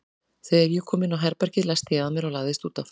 Þegar ég kom inn á herbergið læsti ég að mér og lagðist út af.